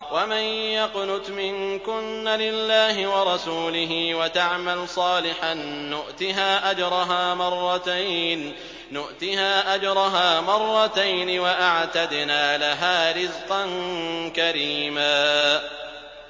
۞ وَمَن يَقْنُتْ مِنكُنَّ لِلَّهِ وَرَسُولِهِ وَتَعْمَلْ صَالِحًا نُّؤْتِهَا أَجْرَهَا مَرَّتَيْنِ وَأَعْتَدْنَا لَهَا رِزْقًا كَرِيمًا